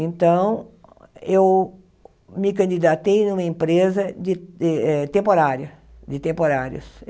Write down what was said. Então, eu me candidatei numa empresa de eh temporária, de temporários.